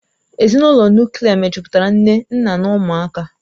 Ezinụlọ Nuklià mejupụtara nne nna na ụmụaka